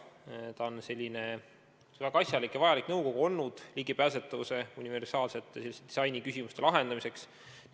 See on olnud selline väga asjalik ja vajalik nõukogu ligipääsetavuse universaalsete disainiküsimuste lahendamiseks.